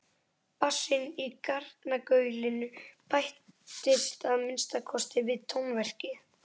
Bassinn í garnagaulinu bættist að minnsta kosti við tónverkið.